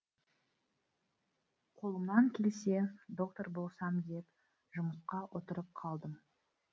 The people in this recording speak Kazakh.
қолымнан келсе доктор болсам деп жұмысқа отырып қалдым